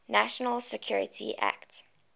national security act